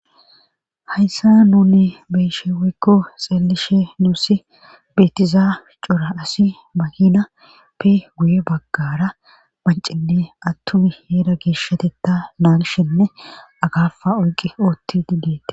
hayssa nuni beshewikko xeelishe nuusi beetizaa cora asi bahina pi guye baggara bancinne attuni heeda geeshatetta naanshenne agafa oyqi ootti dideetes